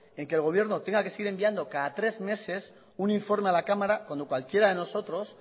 en que el gobierno tenga que seguir enviando cada tres meses un informe a la cámara cuando cualquiera de nosotros